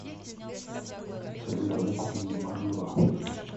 салют давай купим мне марк два